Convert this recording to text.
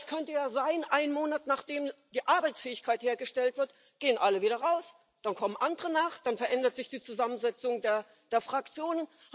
Denn es könnte ja sein, einen Monat, nachdem die Arbeitsfähigkeit hergestellt wird, gehen alle wieder raus, dann kommen andere nach, dann verändert sich die Zusammensetzung der Fraktionen.